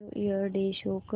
new year day show कर